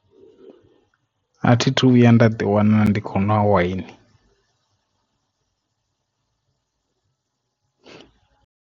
A thi thu vhuya nda ḓi wana ndi khou ṅwa waini.